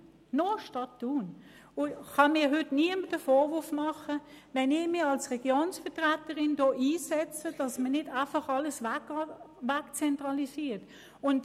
Deshalb kann mir heute niemand einen Vorwurf machen, wenn ich mich als Regionenvertreterin dafür einsetze, dass nicht alles «wegzentralisiert» wird.